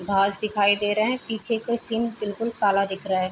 घांस दिखाई दे रहे हैं। पीछे क सीन बिलकुल काला दिख रहा है।